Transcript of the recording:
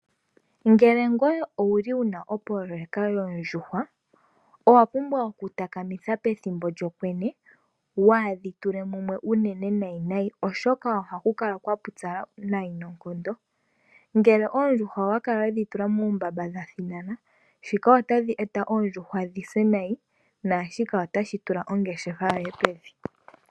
Ngele ngoye owuli wuna opoloyeka yoondjuhwa owa pumbwa okutaka mitha pethimbo lyokwenye waadhi tule mumwe uunene nayi nayi, oshoka ohaku kala kwa pupyala nayi noonkondo. Ngele oondjuhwa owedhi tula muumbamba dha thinana shika otashi eta oondjuhwa dhi se nayi, naashika otashi tula ongeshefa yoye pevi.